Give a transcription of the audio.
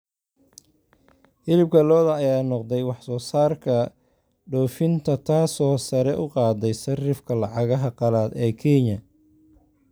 Hilibka lo'da ayaa noqday wax soo saarka dhoofinta taasoo sare u qaaday sarifka lacagaha qalaad ee Kenya.